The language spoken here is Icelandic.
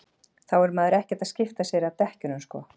þá er maður ekkert að skipta sér að dekkjunum sko